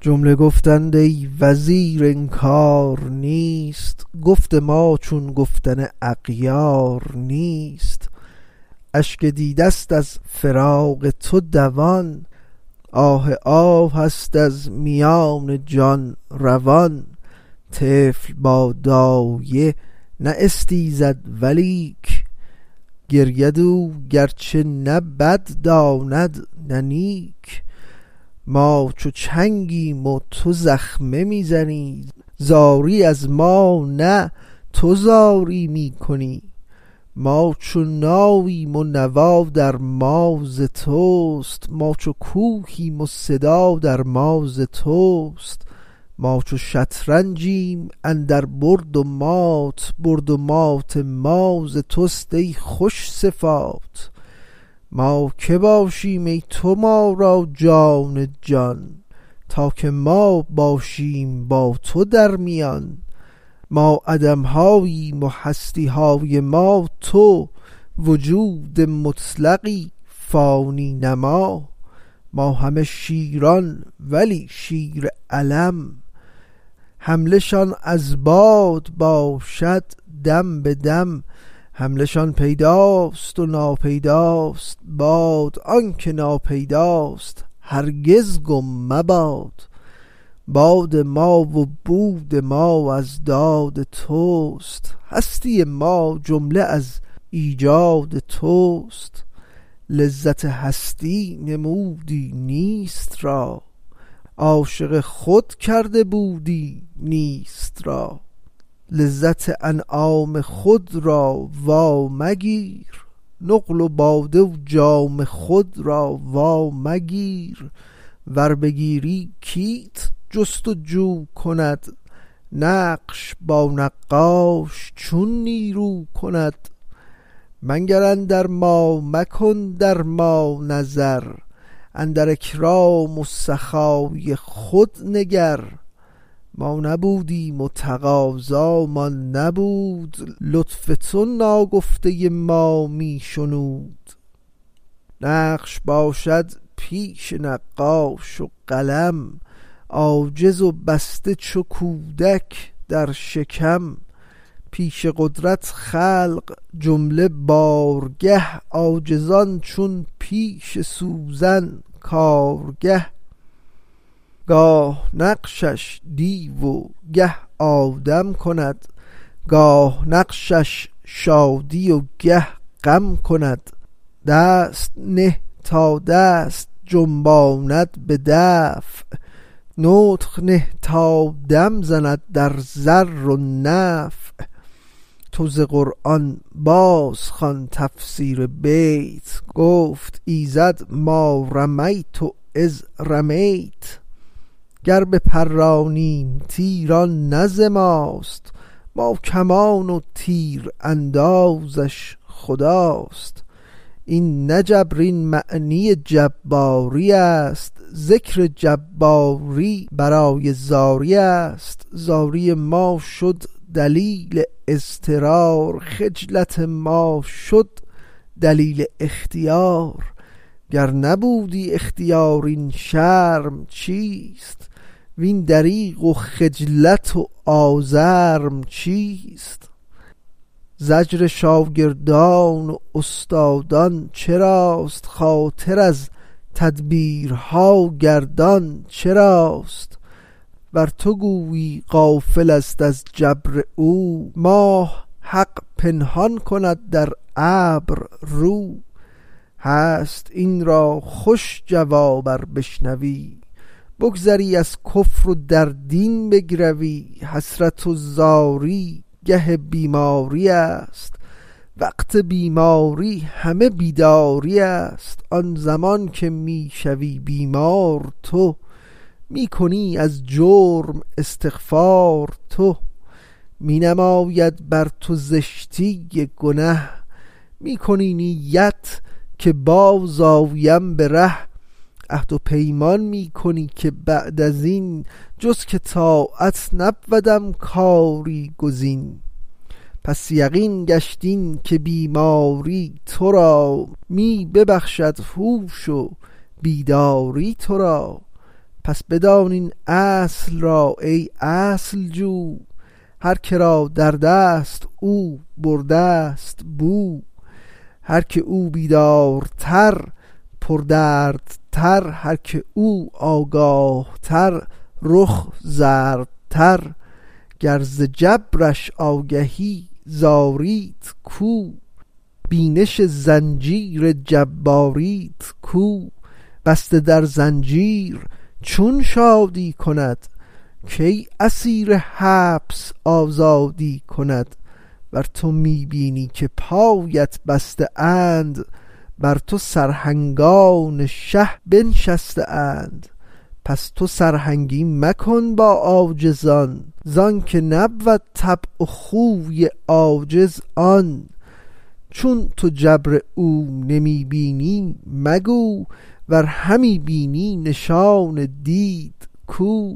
جمله گفتند ای وزیر انکار نیست گفت ما چون گفتن اغیار نیست اشک دیده ست از فراق تو دوان آه آه ست از میان جان روان طفل با دایه نه استیزد ولیک گرید او گرچه نه بد داند نه نیک ما چو چنگیم و تو زخمه می زنی زاری از ما نه تو زاری می کنی ما چو ناییم و نوا در ما ز توست ما چو کوهیم و صدا در ما ز توست ما چو شطرنجیم اندر برد و مات برد و مات ما ز توست ای خوش صفات ما که باشیم ای تو ما را جان جان تا که ما باشیم با تو درمیان ما عدم هاییم و هستی های ما تو وجود مطلقی فانی نما ما همه شیران ولی شیر علم حمله شان از باد باشد دم به دم حمله شان پیدا و ناپیداست باد آنک ناپیداست هرگز گم مباد باد ما و بود ما از داد توست هستی ما جمله از ایجاد توست لذت هستی نمودی نیست را عاشق خود کرده بودی نیست را لذت انعام خود را وا مگیر نقل و باده و جام خود را وا مگیر ور بگیری کیت جست و جو کند نقش با نقاش چون نیرو کند منگر اندر ما مکن در ما نظر اندر اکرام و سخای خود نگر ما نبودیم و تقاضامان نبود لطف تو ناگفته ما می شنود نقش باشد پیش نقاش و قلم عاجز و بسته چو کودک در شکم پیش قدرت خلق جمله بارگه عاجزان چون پیش سوزن کارگه گاه نقشش دیو و گه آدم کند گاه نقشش شادی و گه غم کند دست نه تا دست جنباند به دفع نطق نه تا دم زند در ضر و نفع تو ز قرآن بازخوان تفسیر بیت گفت ایزد ما رميۡت إذۡ رميۡت گر بپرانیم تیر آن نه ز ماست ما کمان و تیراندازش خداست این نه جبر این معنی جباری است ذکر جباری برای زاری است زاری ما شد دلیل اضطرار خجلت ما شد دلیل اختیار گر نبودی اختیار این شرم چیست وین دریغ و خجلت و آزرم چیست زجر شاگردان و استادان چراست خاطر از تدبیرها گردان چراست ور تو گویی غافل است از جبر او ماه حق پنهان کند در ابر رو هست این را خوش جواب ار بشنوی بگذری از کفر و در دین بگروی حسرت و زاری گه بیماری است وقت بیماری همه بیداری است آن زمان که می شوی بیمار تو می کنی از جرم استغفار تو می نماید بر تو زشتی گنه می کنی نیت که باز آیم به ره عهد و پیمان می کنی که بعد ازین جز که طاعت نبودم کاری گزین پس یقین گشت این که بیماری تو را می ببخشد هوش و بیداری تو را پس بدان این اصل را ای اصل جو هر که را دردست او برده ست بو هر که او بیدارتر پردردتر هر که او آگاه تر رخ زردتر گر ز جبرش آگهی زاریت کو بینش زنجیر جباریت کو بسته در زنجیر چون شادی کند کی اسیر حبس آزادی کند ور تو می بینی که پایت بسته اند بر تو سرهنگان شه بنشسته اند پس تو سرهنگی مکن با عاجزان زانک نبود طبع و خوی عاجز آن چون تو جبر او نمی بینی مگو ور همی بینی نشان دید کو